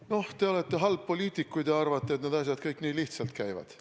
No te olete halb poliitik, kui te arvate, et need asjad kõik nii lihtsalt käivad.